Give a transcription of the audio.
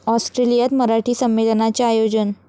ऑस्ट्रेलियात मराठी संमेलनाचे आयोजन